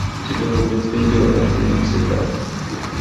у тебя будет видео это не навсегда